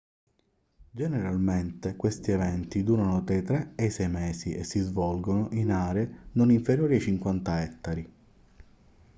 generalmente questi eventi durano tra i tre e i sei mesi e si svolgono in aree non inferiori ai 50 ettari